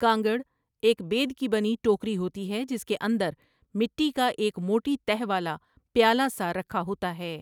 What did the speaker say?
کانگڑ ایک بید کی بنی ٹوکری ہوتی ہے جس کے اندر مٹی کا ایک موٹی تہ والا پیالہ سا رکھا ہوتا ہے ۔